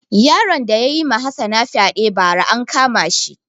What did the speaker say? Yaron da yayi ma hassana fyaɗe ba ra an kama shi